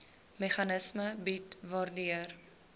meganisme bied waardeur